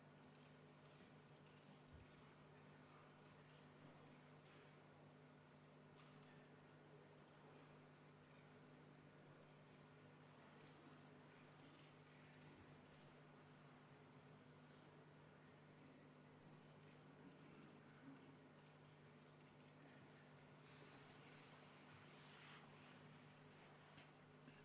Ma palun valimiskomisjonil alustada häälte lugemist.